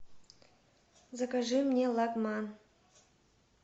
закажи мне лагман